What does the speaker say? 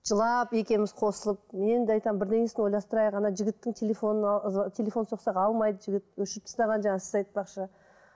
жылап екеуіміз қосылып мен де айтамын бірдеңесін ойластырайық жігіттің телефоны ы телефон соқсақ алмайды жігіт өшіріп тастаған жаңағы сіз айтпақшы